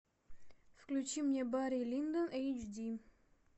включи мне барри линдон эйч ди